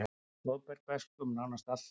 Blóðberg vex um nánast allt land.